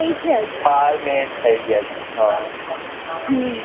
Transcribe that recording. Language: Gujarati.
થઇ છે હજુ બાર minute થઇ ગયા છે